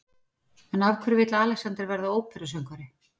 En af hverju vill Alexander verða óperusöngvari?